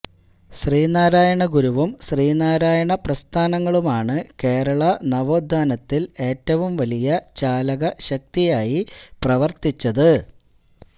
ശ്രീനാരായണ ഗുരുവും ശ്രീനാരായണ പ്രസ്ഥാനങ്ങളുമാണ് കേരള നവോത്ഥാനത്തില് ഏറ്റവും വലിയ ചാലകശക്തിയായി പ്രവര്ത്തിച്ചത്